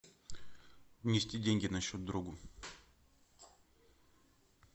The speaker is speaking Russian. внести деньги на счет другу